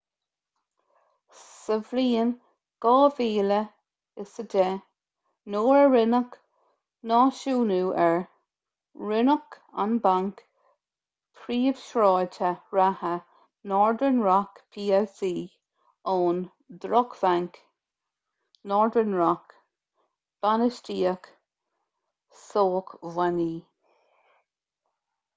sa bhliain 2010 nuair a rinneadh náisiúnú air roinneadh an banc príomhshráide reatha northern rock plc ón ‘drochbhanc’ northern rock bainistíocht sócmhainní